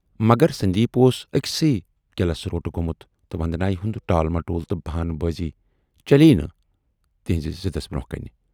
مگر سندیپ اوس ٲکۍسٕے کِلس روٹہٕ گومُت تہٕ وندنایہِ ہُند ٹال مٹول تہٕ بہانہٕ بٲزی چلے یہِ نہٕ تَسٕنزِ ضِد برونہہ کنہِ۔